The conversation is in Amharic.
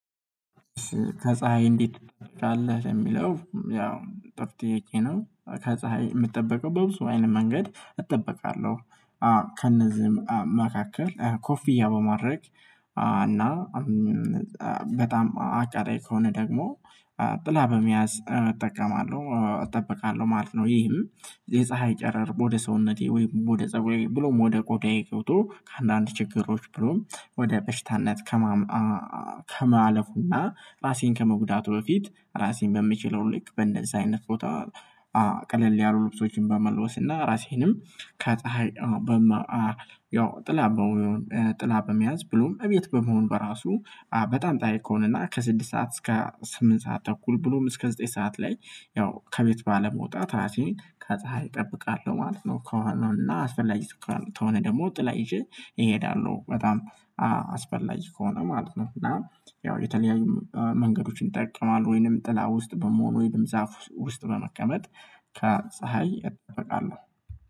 ከፀሀይ እንዴት ካለህ የሚለው ያው ጥሩ ጥያቄ ነው። ከፀሀይ የምትጠብቀው በብዙ አይነት መንገድ እጠበቃለሁ። አዎ ከነዚህም መካከል ኮፊያ በማድረግ እና በጣም አቃጣይ ከሆነ ደግሞ ጥላ በመያዝ እጠቀማለሁ እጠበቃለሁ ማለት ነው። ይህም የፀሀይ ጨረር ወደ ሰውነቴ ወይ ወደ ፀብሬ ላይ ብሎም ወደ ቆዳዬ ገብቶ ከአንዳንድ ችግሮች ብሎም ወደ በሽታነት። ከማለፉና ባሴን ከመጉዳቱ በፊት ራሴን በምችለው ልክ በእንደዚህ አይነት ፎታ ቀለል ያሉ ልብሶችን በመለወስ ራሴንም ከፀሀይ። ያው ጥላ ጥላ በመያዝ ብሎም እቤት በመሆን በራሱ በጣም ፀሀይ ከሆነና ከስድስት ሰዓት እስከ ስምንት ሰዓት ተኩል ብሎም እስከ ዘጠኝ ሰዓት ላይ ያው ከቤት ባለመውጣት ራሴን ከፀሀይ እጠብቃለሁ ማለት ነው። ከሆነውና አስፈላጊ ተኩል ከሆነ ደግሞ ጥላ ይዤ እሄዳለሁ በጣም አስፈላጊ ከሆነ ማለት ነው። እና ያው የተለያዩ መንገዶችን ጠቅሟል ወይንም ጥላ ውስጥ በመሆን ወይንም ዛፍ ውስጥ በመቀመጥ ከፀሀይ እጠበቃለሁ።